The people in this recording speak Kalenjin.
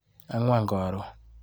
Angwan karon.